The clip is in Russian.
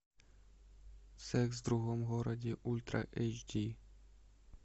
секс в другом городе ультра эйч ди